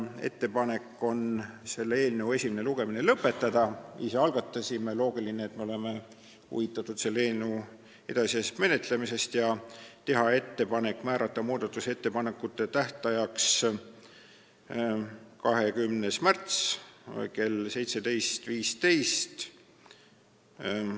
Ettepanek on selle eelnõu esimene lugemine lõpetada – kuna ise algatasime, siis on loogiline, et me oleme huvitatud selle eelnõu edasisest menetlemisest – ja määrata muudatusettepanekute esitamise tähtajaks 20. märts kell 17.15.